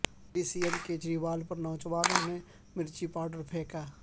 Delhi C M Kejriwal پر نوجوان نے مرچی پاوڈر پھینکا